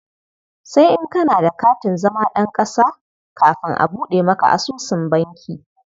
Sai in kana da katin zama ɗan ƙasa kafin a buɗe maka asusun banki.